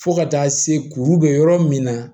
Fo ka taa se kuru bɛ yɔrɔ min na